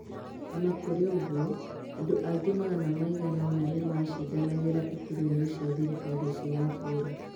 O na kũrĩ ũguo, andũ angĩ magana maigana ũna nĩ maacindanagĩra iturwa-inĩ cia thirikari cia matũũra.